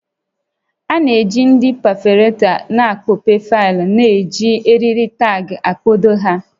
A na-eji ndị pefọretọ n'ịkpọpe faịlụ na iji eriri taagị kpado ha